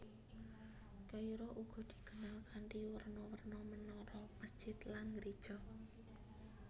Kairo uga dikenal kanthi werna werna menara masjid lan geréja